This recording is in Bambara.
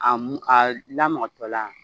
A a lamɔtɔ la